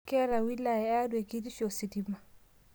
Keeta wilaya e Arua e kitisho ositima